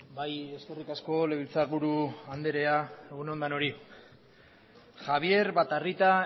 bai eskerrik asko legebiltzarburu andrea egun on denoi javier batarrita